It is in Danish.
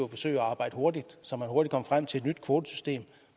forsøge at arbejde hurtigt så man hurtigt kom frem til et nyt kvotesystem